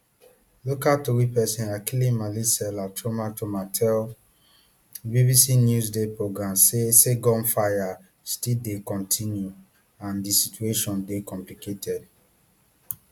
local tori pesin akilimali selah chomachoma tell bbc newsday programme say say gunfire still dey continue and di situation dey complicated